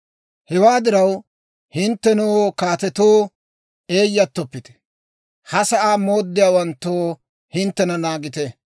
Hewaa diraw, hinttenoo kaatetoo, eeyattoppite; ha sa'aa mooddiyaawanttoo, hinttena naagite!